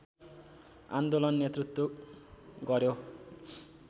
आन्दोलन नेतृत्व गर्‍यो